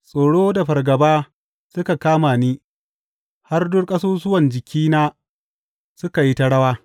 Tsoro da fargaba suka kama ni har duk ƙasusuwan jikina suka yi ta rawa.